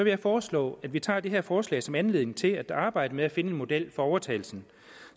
jeg foreslå at vi tager det her forslag som anledning til at arbejde med at finde en model for overtagelsen